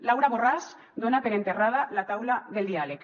laura borràs dona per enterrada la taula del diàleg